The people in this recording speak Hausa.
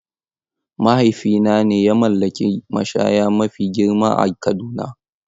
Mahaifina ne ya mallaki mashaya mafi girma a Kaduna.